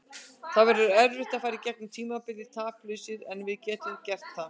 Það verður erfitt að fara í gegnum tímabilið taplausir en við getum gert það.